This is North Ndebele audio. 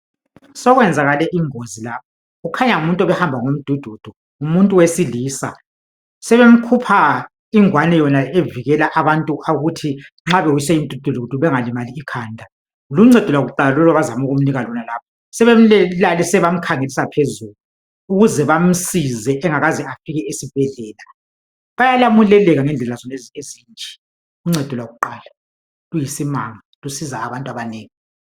Sokwanzakele ingozi la, kukhanya ngumuntu obehamba ngomdududu, ngumuntu wesilisa. Sebemkhupha ingwane yona evikela abantu ukuthi nxa bewiswe yimidududu bengalimali ikhanda. Luncedo lwakuqala lolu abazama ukumnika lona lapha, sebemlalise bamkhangelisa phezulu ukuze bamsize angakaze afike esibhedlela. Bayalamuleleka ngendlela zonezi ezinje. Uncedo lwakuqala luyisimanga, lusiza abantu abanengi.